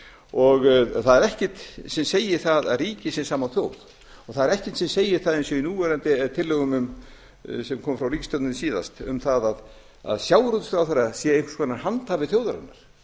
og það er ekkert sem segir það að ríki sé sama og þjóð og það er ekkert sem segir það eins og í tillögum sem komu frá ríkisstjórninni síðast um það að sjávarútvegsráðherra sé einhvers konar handhafi þjóðarinnar